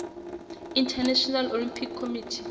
international olympic committee